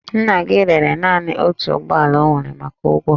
Nna gị rere naanị otu ụgbọ ala o nwere maka ụgwọ